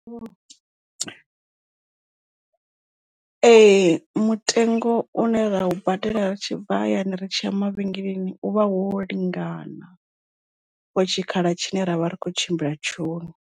Ee mutengo une ra u badela ri tshi bva hayani ri tshi ya mavhengeleni u vha wo lingana for tshikhala tshine ra vha ri kho tshimbila tshone.